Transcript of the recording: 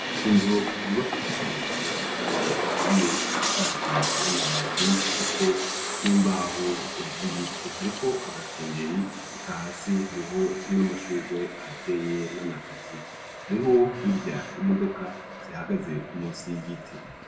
Inzu yubakishije amatashari aturiye isakaje n'amabati ariko n'imbaho zibiti, hariko agakengeri eka hasi hariho n'amashugwe ahateye n'amateke, hariho hirya imodoka zihagaze munsi y'igiti.